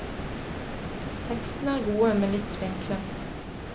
Tekstene er gode, men litt spinkle.